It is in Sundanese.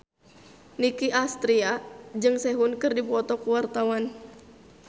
Nicky Astria jeung Sehun keur dipoto ku wartawan